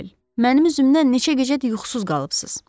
Mənim üzümdən neçə gecədir yuxusuz qalıbsınız.